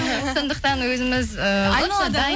сондықтан өзіміз ііі